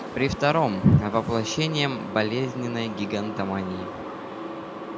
при втором воплощением болезненной гигантомании